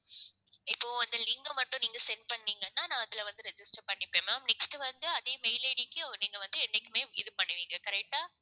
இப்போ அந்த link அ மட்டும் நீங்க send பண்ணீங்கன்னா நான் அதுல வந்து register பண்ணிப்பேன் ma'am next வந்து அதே mail ID க்கு நீங்க வந்து என்னைக்குமே இது பண்ணுவீங்க correct ஆ